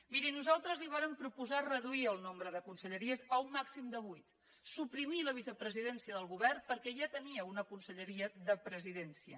miri nosaltres li vàrem proposar reduir el nombre de conselleries a un màxim de vuit suprimir la vicepresidència del govern perquè ja tenia una conselleria de presidència